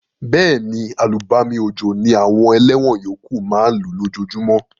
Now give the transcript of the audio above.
Béèni, àlùbami òjò ni àwon eléwon yókù ma n lú lójojúmó